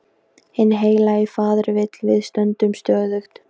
Hinn heilagi faðir vill við stöndum stöðug.